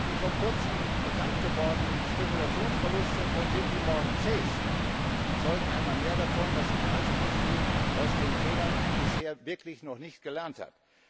Die vor kurzem bekanntgewordenen Spekulationsverluste von JPMorgan Chase zeugen einmal mehr davon, dass die Finanzindustrie aus den Fehlern bisher wirklich noch nicht gelernt hat.